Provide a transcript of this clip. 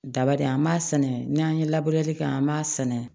Daba de an b'a sɛnɛ n'an ye labureli kɛ an b'a sɛnɛ